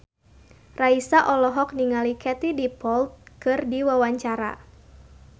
Raisa olohok ningali Katie Dippold keur diwawancara